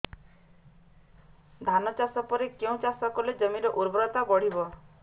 ଧାନ ଚାଷ ପରେ କେଉଁ ଚାଷ କଲେ ଜମିର ଉର୍ବରତା ବଢିବ